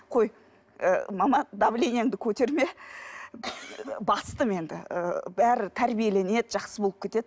қой ы мама давлениеңді көтерме бастым енді ы бәрі тәрбиеленеді жақсы болып кетеді